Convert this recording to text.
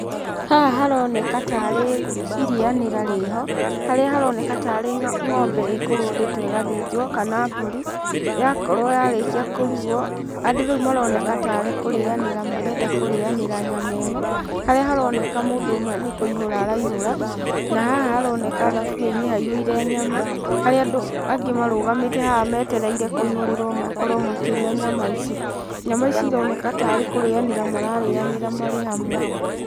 Haha haroneka tarĩ irĩanĩra rĩho, harĩa haroneka ta arĩ ng'ombe ĩkũrũndĩtwo ĩgathĩnjwo, kana mbũri, yakorwo yarĩkia kũrugwo, andũ rĩu maroneka ta arĩ kũrĩanĩra marenda kũrĩanĩra nyama ĩno, harĩa haroneka mũndũ ũmwe nĩ kũihũra araihũra, na haha haroneka thaburia-inĩ haihũire nyama, harĩa andũ angĩ marũgamĩte haha metereire kũihũrĩrwo makorwo makĩrĩa nyama ici. Nyama ici ironeka tarĩ kũrĩanĩra mararĩanĩra marĩ hamwe.